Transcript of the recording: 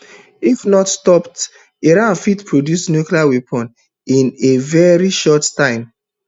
if not stopped iran fit produce nuclear weapon in a veri short time